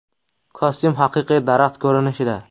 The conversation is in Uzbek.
Kostyum haqiqiy daraxt ko‘rinishida.